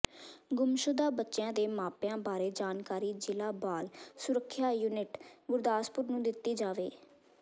ਗੁੰਮਸ਼ੁਦਾ ਬੱਚਿਆਂ ਦੇ ਮਾਪਿਆਂ ਬਾਰੇ ਜਾਣਕਾਰੀ ਜ਼ਿਲ੍ਹਾ ਬਾਲ ਸੁਰੱਖਿਆ ਯੂਨਿਟ ਗੁਰਦਾਸਪੁਰ ਨੂੰ ਦਿੱਤੀ ਜਾਵੇ